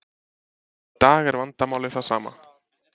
Í dag er vandamálið það sama.